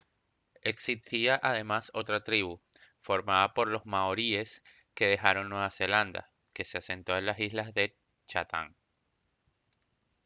existía además otra tribu formada por los maoríes que dejaron nueva zelanda que se asentó en las islas chatham